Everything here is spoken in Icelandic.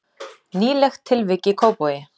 Nýlegt tilvik í Kópavogi